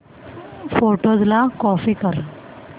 photos ला copy कर